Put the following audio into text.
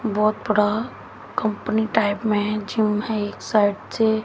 बहोत बड़ा company type में है जिम है एक साइड से--